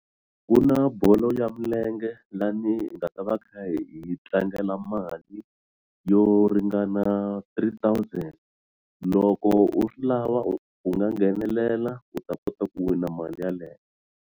Ku na bolo ya milenge laha ni nga ta va hi kha hi tlangela mali yo ringana three thousand loko u swi lava u u nga nghenelela u ta kota ku wina mali yeleyo.